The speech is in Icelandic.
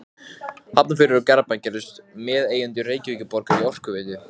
Tíminn og Morgunblaðið töldu þessi skrif hneykslanleg.